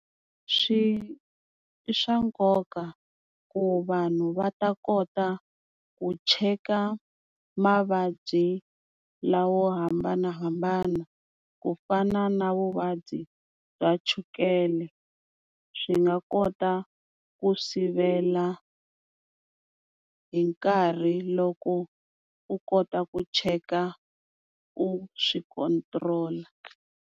Swi i swa nkoka ku vanhu va ta kota ku cheka mavabyi lawa yo hambanahambana, ku fana na vuvabyi bya chukele swi nga kota ku sivela hi nkarhi loko u kota ku cheka u swi control-a.